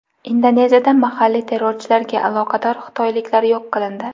Indoneziyada mahalliy terrorchilarga aloqador xitoyliklar yo‘q qilindi.